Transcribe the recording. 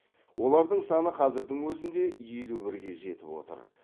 олардың саны қазірдің өзінде елу бірге жетіп отыр